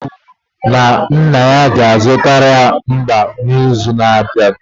o kwuru na nna ya ga-azụta nwamba n'izu na-abịa